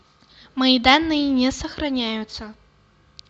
мои данные не сохраняются